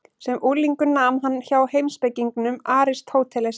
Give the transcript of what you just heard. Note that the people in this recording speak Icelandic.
Sem unglingur nam hann hjá heimspekingnum Aristótelesi.